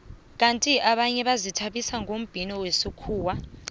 kandi abanye bazithabisa ngombhino wesikhuwa